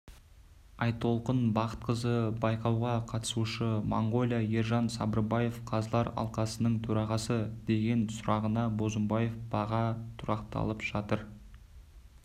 айтолқын бақытқызы байқауға қатысушы моңғолия ержан сабырбаев қазылар алқасының төрағасы деген сұрағына бозымбаев баға тұрақталып жатыр